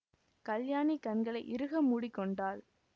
கல்யாணி கண்களை இறுக மூடி கொண்டாள்